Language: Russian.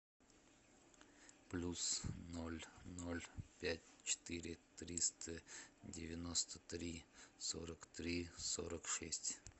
плюс ноль ноль пять четыре триста девяносто три сорок три сорок шесть